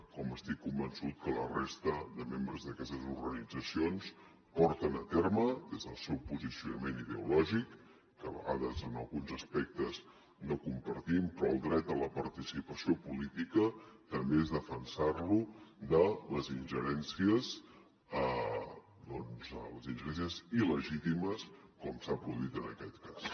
com estic convençut que la resta de membres d’aquestes organitzacions porten a terme des del seu posicionament ideològic que a vegades en alguns aspectes no compartim però el dret a la participació política també és defensar lo de les ingerències doncs il·legítimes com s’ha produït en aquest cas